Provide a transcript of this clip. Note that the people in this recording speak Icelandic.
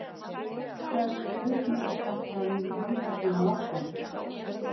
Það er þó spurning hvort þetta muni halda svona áfram.